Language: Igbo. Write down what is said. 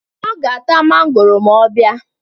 Ọ ga-ata mangoro ma ọ bịa